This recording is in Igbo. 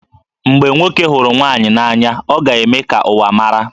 Mgbe nwoke hụrụ nwaanyị n'anya, ọ ga-eme ka ụwa mara